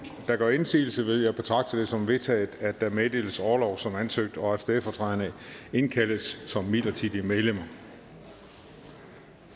gør indsigelse vil jeg betragte det som vedtaget at der meddeles orlov som ansøgt og at stedfortræderne indkaldes som midlertidige medlemmer